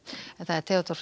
Theodór Freyr